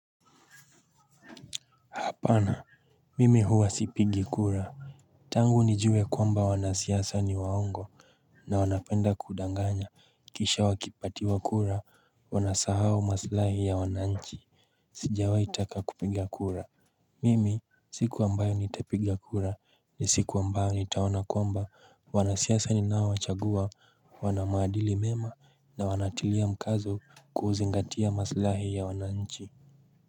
Hapana. Mimi huwa sipigi kura. Tangu nijue kwamba wanasiasa ni waongo. Na wanapenda kudanganya kisha wakipatiwa kura wanasahau maslahi ya wananchi. Sijawaitaka kupiga kura. Mimi siku ambayo nitapiga kura ni siku ambayo nitaoana kwamba wanasiasa ninaowachagua wana maadili mema na wanatilia mkazo kuzingatia maslahi ya wananchi.